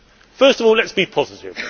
First of all, let us be positive.